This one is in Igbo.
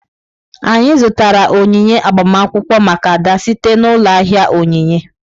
Anyị zụtara onyinye agbamakwụkwọ maka Ada site n'ụlọ ahịa onyinye.